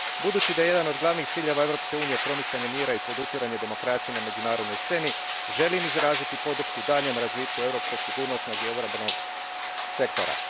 Budući da je jedan od glavnih ciljeva Europske unije promicanje mira i podupiranje demokracije na međunarodnoj sceni, želim izraziti podršku daljnjem razvitku europskog sigurnosnog i obrambenog sektora.